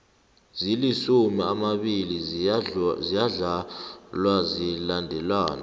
zilisumu amabili ziyadlalwa zilandelana